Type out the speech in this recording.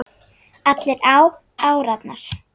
Allir á árarnar